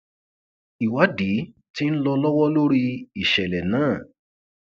ìwádìí tí ń lọ lọwọ lórí ìṣẹlẹ náà